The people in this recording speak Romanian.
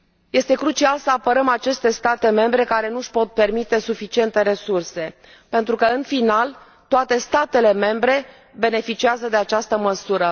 Este crucial să apărăm aceste state membre, care nu își pot permite suficiente resurse pentru că, în final, toate statele membre beneficiază de această măsură.